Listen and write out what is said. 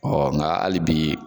nga hali bi